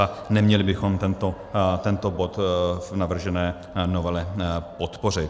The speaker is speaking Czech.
A neměli bychom tento bod v navržené novele podpořit.